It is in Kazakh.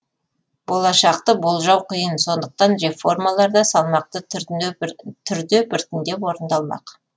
болашақты болжау қиын сондықтан реформалар да салмақты түрде біртіндеп орындалмақ